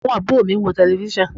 Àwọn àbúrò mi ń wo tẹlẹfísàn